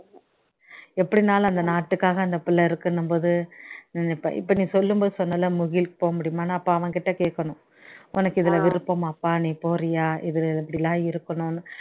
எப்படினாலும் அந்த நாட்டுக்காக அந்த பிள்ளை இருக்குணும் போது இப்போ இப்போ நீ சொல்லும்போது சொன்னல முகில்க்கு போக முடியுமானு அப்போ அவன் கிட்ட கேட்கணும் உனக்கு இதுல விருப்பமாபா நீ போறியா இதுல இப்படிலாம் இருக்கணும்னு